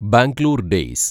Bangalore‍ days